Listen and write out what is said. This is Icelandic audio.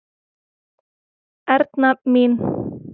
Erna mín.